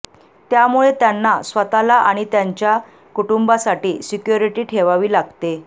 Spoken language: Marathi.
त्यामुळे त्यांना स्वतःला आणि त्यांच्या कुटुंबासाठी सिक्योरिटी ठेवावी लागते